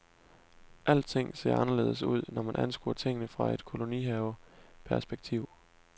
Alting ser anderledes ud, når man anskuer tingene fra et kolonihaveperspektiv.